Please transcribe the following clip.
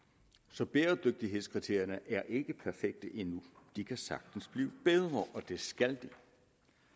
så bæredygtighedskriterierne er ikke perfekte endnu de kan sagtens blive bedre og det skal